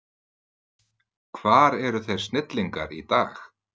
Hvar eru þeir snillingar í dag?